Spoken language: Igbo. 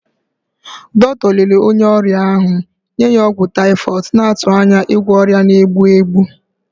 Dọkịta lere onye ọrịa ahụ, nye ya ọgwụ typhoid, na-atụ anya ịgwọ ọrịa na-egbu egbu.